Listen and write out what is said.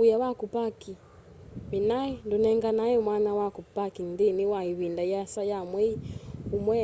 wia wa kupark minae ndunenganae mwanya wa parking nthini wa ivinda yiasa ya mwei umwe